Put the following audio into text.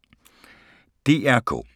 DR K